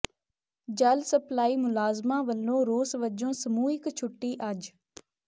ਜਲ ਸਪਲਾਈ ਮੁਲਾਜ਼ਮਾਂ ਵੱਲੋਂ ਰੋਸ ਵਜੋਂ ਸਮੂਹਿਕ ਛੁੱਟੀ ਅੱਜ